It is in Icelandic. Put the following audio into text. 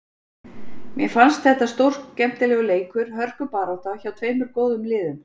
Mér fannst þetta stórskemmtilegur leikur, hörkubarátta, hjá tveimur góðum liðum.